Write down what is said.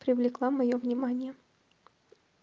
привлекла моё внимание